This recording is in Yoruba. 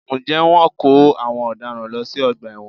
Ǹjẹ́ Wọ́n ń kó àwọn ọ̀daràn lọ sí ọgbà ẹ̀wọ̀n?